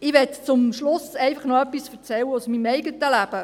Ich möchte zum Schluss einfach noch etwas aus meinem Leben erzählen: